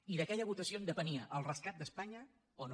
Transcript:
i d’aquella votació en depenia el rescat d’espanya o no